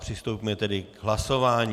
Přistoupíme tedy k hlasování.